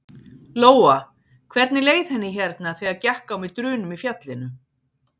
Lóa: Hvernig leið henni hérna þegar gekk á með drunum í fjallinu?